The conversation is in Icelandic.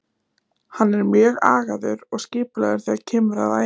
Hann er mjög agaður og skipulagður þegar kemur að æfingum.